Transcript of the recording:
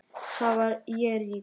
Þá verð ég rík.